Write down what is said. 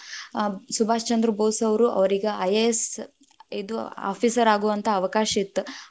ಆ ಸುಭಾಷ್ ಚಂದ್ರ ಭೋಸ್‌ ಅವ್ರು, ಅವ್ರೀಗೆ IAS ಇದು officer ಆಗುವಂಥಾ ಅವಕಾಶ ಇತ್ತ್.